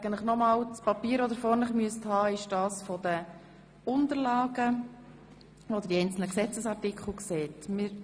Das Papier, das Sie vor sich haben sollten, ist dasjenige aus den Unterlagen, auf dem die einzelnen Gesetzesartikel ersichtlich sind.